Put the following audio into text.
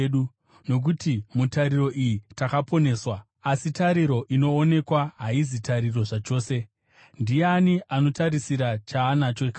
Nokuti mutariro iyi takaponeswa. Asi tariro inoonekwa haizi tariro zvachose. Ndiani anotarisira chaanacho kare?